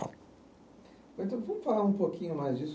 Então, vamos falar um pouquinho mais disso.